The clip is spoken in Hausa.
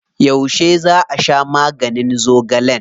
Yauce za a sha maganin zogalen?